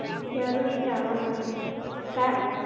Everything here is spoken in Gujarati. જરૂરી છે આવવા માટે. કારણ